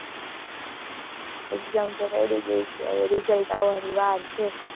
exam તો ready ગયી છે. હવે result આવા ની વાર છે.